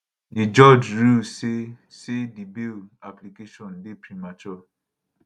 di judge rule say say di bail application dey premature